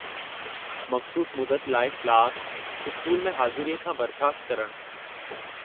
मख़सूसु मुदत लाइ क्लास/स्कूल में हाज़ुरीअ खां बर्ख़ास्तु करणु।